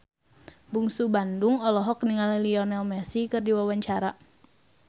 Bungsu Bandung olohok ningali Lionel Messi keur diwawancara